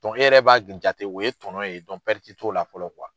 e yɛrɛ b'a jate o ye tɔnɔ ye t'o la fɔlɔ